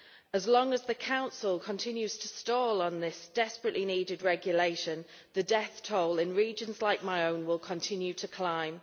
As long as the Council continues to stall on this desperately-needed regulation, the death toll in regions like my own will continue to climb.